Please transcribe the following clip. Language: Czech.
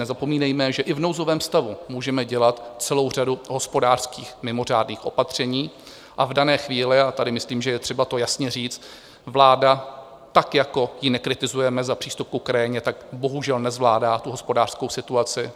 Nezapomínejme, že i v nouzovém stavu můžeme dělat celou řadu hospodářských mimořádných opatření, a v dané chvíli, a tady myslím, že je třeba to jasně říct, vláda tak jako ji nekritizujeme za přístup k Ukrajině, tak bohužel nezvládá tu hospodářskou situaci.